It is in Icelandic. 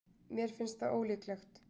Mér finnst það ólíklegt.